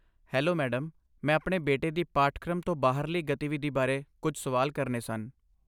Hello, madam, ਮੈਂ ਆਪਣੇ ਬੇਟੇ ਦੀ ਪਾਠਕ੍ਰਮ ਤੋਂ ਬਾਹਰਲੀ ਗਤੀਵਿਧੀ ਬਾਰੇ ਕੁਝ ਸਵਾਲ ਕਰਨੇ ਸਨ।